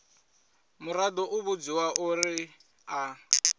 muraḓo u vhudziwa uri a